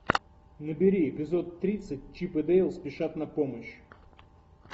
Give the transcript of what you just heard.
набери эпизод тридцать чип и дейл спешат на помощь